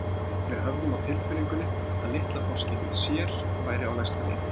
Við höfðum á tilfinningunni að litla forskeytið sér væri á næsta leiti.